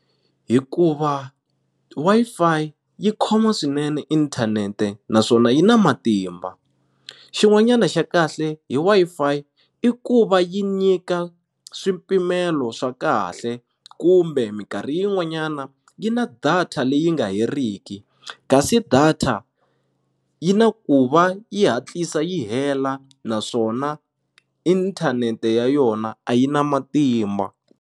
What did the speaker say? Hikuva Wi-Fi yi khoma swinene inthanete naswona yi na matimba xin'wanyana xa kahle hi Wi-Fi i ku va yi nyika swipimelo swa kahle kumbe minkarhi yin'wanyana yi na data leyi nga heriki kasi data yi na ku va yi hatlisa yi hela naswona inthanete ya yona a yi na matimba.